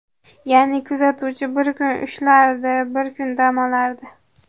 Ya’ni kuzatuvchi bir kun ishlardi, bir kun dam olardi.